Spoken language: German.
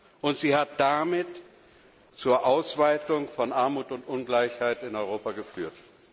Politik hat damit zur Ausweitung von Armut und Ungleichheit in Europa geführt.